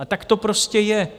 A tak to prostě je.